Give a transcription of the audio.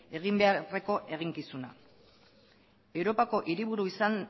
egin beharreko eginkizuna europako hiriburu izan